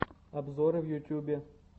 обзоры в ютубе